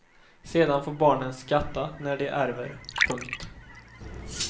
Sedan får barnen skatta när de ärver. punkt